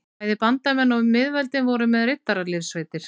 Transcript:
Bæði bandamenn og miðveldin voru með riddaraliðssveitir.